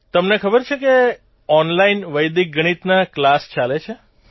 તમને ખબર છે કે ઓનલાઇન વૈદિક ગણિતના કલાસ ચાલે છે